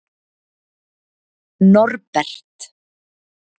Norbert